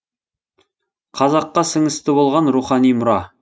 қазаққа сіңісті болған рухани мұра